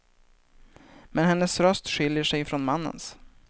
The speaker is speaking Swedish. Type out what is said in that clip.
Men hennes röst skiljer sig från mannens.